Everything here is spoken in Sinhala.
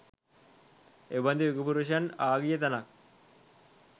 එබඳු යුග පුරුෂයන් ආගිය තැනක්